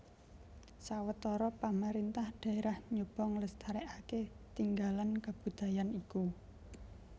Sawetara pamarintah daerah nyoba nglestarèkaké tinggalan kabudayan iku